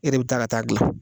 E de bɛ taa ka taa dilan.